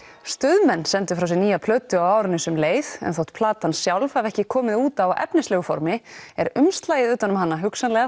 Stuðmenn sendu frá sér nýja plötu á árinu sem leið en þótt platan sjálf hafi ekki komið út á efnislegu formi er umslagið utan um hana hugsanlega